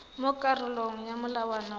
mo karolong ya molawana wa